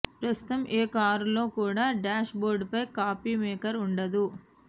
ప్రస్తుతం ఏ కారులో కూడా డ్యాష్ బోర్డ్ పై కాఫీ మేకర్ ఉండదు